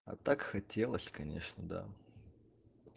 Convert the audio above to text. а так хотелось конечно да